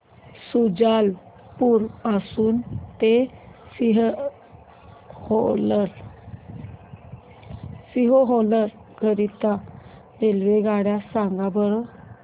शुजालपुर पासून ते सीहोर करीता रेल्वेगाड्या सांगा बरं